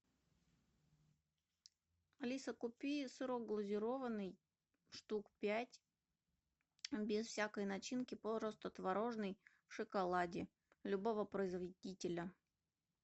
алиса купи сырок глазированный штук пять без всякой начинки просто творожный в шоколаде любого производителя